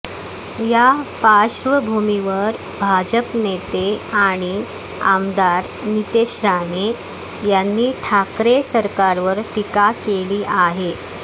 या पार्श्वभूमीवर भाजप नेते आणि आमदार नितेश राणे यांनी ठाकरे सरकारवर टीका केली आहे